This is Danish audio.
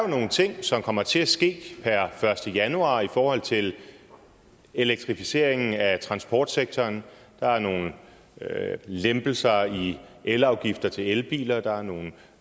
nogle ting som kommer til at ske per første januar i forhold til elektrificeringen af transportsektoren der er nogle lempelser i elafgifter til elbiler der er nogle